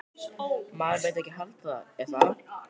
Maður myndi ekki halda það, er það?